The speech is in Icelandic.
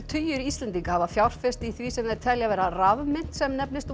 tugir Íslendinga hafa fjárfest í því sem þeir telja vera rafmynt sem nefnist